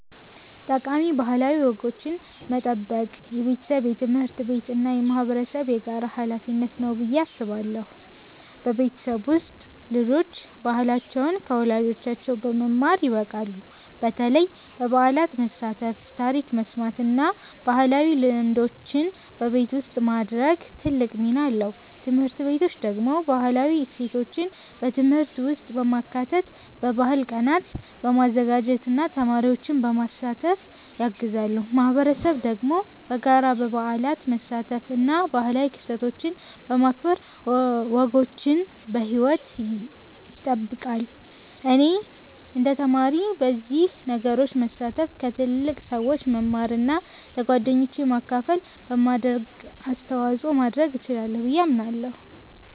ጠቃሚ ባህላዊ ወጎችን መጠበቅ የቤተሰብ፣ የትምህርት ቤት እና የማህበረሰብ የጋራ ሀላፊነት ነው ብዬ አስባለሁ። በቤተሰብ ውስጥ ልጆች ባህላቸውን ከወላጆቻቸው በመማር ይበቃሉ፣ በተለይ በበዓላት መሳተፍ፣ ታሪክ መስማት እና ባህላዊ ልምዶችን በቤት ውስጥ ማድረግ ትልቅ ሚና አለው። ትምህርት ቤቶች ደግሞ ባህላዊ እሴቶችን በትምህርት ውስጥ በማካተት፣ በባህል ቀናት በማዘጋጀት እና ተማሪዎችን በማሳተፍ ያግዛሉ። ማህበረሰብ ደግሞ በጋራ በበዓላት መሳተፍ እና ባህላዊ ክስተቶችን በማክበር ወጎችን በሕይወት ይጠብቃል። እኔ እንደ ተማሪ በእነዚህ ነገሮች መሳተፍ፣ ከትልቅ ሰዎች መማር እና ለጓደኞቼ ማካፈል በማድረግ አስተዋጽኦ ማድረግ እችላለሁ ብዬ አምናለሁ።